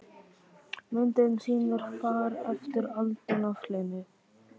Myndin sýnir far eftir aldin af hlyni.